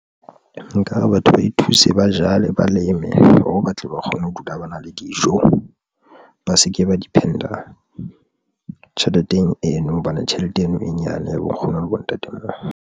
Nka re batho ba e thuse, ba jale, ba leme hore batle ba kgone ho dula ba na le dijo, ba se ke ba depend-a tjheleteng eno hobane tjhelete eno e nyane ya bo nkgono le bontatemoholo.